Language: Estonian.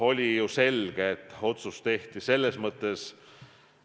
Oli selge, et otsus tehti kiirustades.